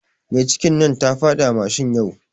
Mai cikin nan tafiɗi a mashin yau